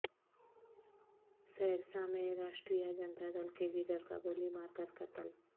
سہرسہ میں راشٹریہ جنتا دل کے لیڈر کا گولی مار کر قتل